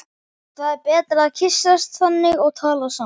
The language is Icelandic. Það er betra að kyssast þannig og tala saman.